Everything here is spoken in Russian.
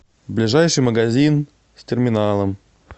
ближайший магазин с терминалом